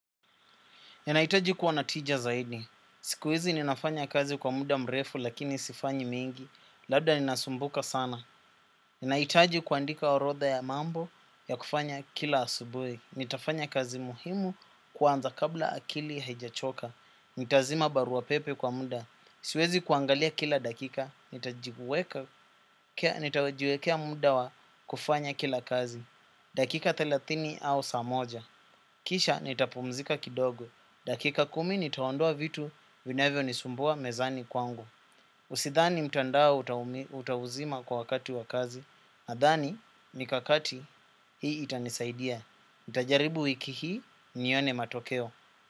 Ninahitaji kuwa na tija zaidi. Siku hizi ninafanya kazi kwa muda mrefu lakini sifanyi mingi. Labda ninasumbuka sana. Ninahitaji kuandika orotha ya mambo ya kufanya kila asubuhi. Nitafanya kazi muhimu kwanza kabla akili haijachoka. Nitazima barua pepe kwa muda. Siwezi kuangalia kila dakika. Nitajiwekea muda wa kufanya kila kazi. Dakika thelathini au saa moja. Kisha nitapumzika kidogo. Dakika kumi nitaondoa vitu vinavyonisumbua mezani kwangu. Usidhani mtandao utauzima kwa wakati wa kazi. Nadhani mikakati hii itanisaidia. Nitajaribu wiki hii nione matokeo.